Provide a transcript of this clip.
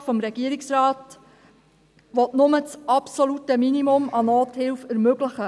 Der Gesetzesvorschlag des Regierungsrates will nur das absolute Minimum an Nothilfe ermöglichen.